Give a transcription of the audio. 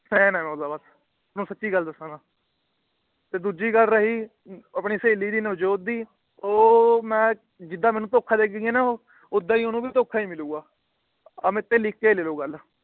Fan ਆ ਓਹਦਾ ਮੈ ਬਸ ਸੱਚੀ ਗੱਲ ਦੱਸਾਂਗਾ। ਤੇ ਦੂਜੀ ਗੱਲ ਰਹੀ ਆਪਣੀ ਸਹੇਲੀ ਦੀ ਨਵਜੋਤ ਦੀ ਉਹ ਮੈ ਜਿਦਾ ਮੈਨੂੰ ਧੋਖਾ ਦੇ ਗਈ ਨਾ ਉਹ ਉਹਦਾ ਓਹਨੂੰ ਵੀ ਧੋਖਾ ਈ ਮਿਲੂਗਾ। ਆ ਮੀ ਤੋਂ ਲਿਖ ਕੇ ਲੇਲੋ ਗੱਲ।